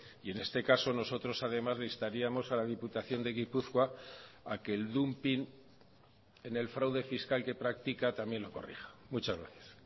y en este caso nosotros además le instaríamos a la diputación de gipuzkoa a que el dumping en el fraude fiscal que práctica también lo corrija muchas gracias